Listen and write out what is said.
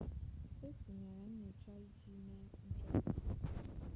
e tinyere nnyocha iji mee nchọpụta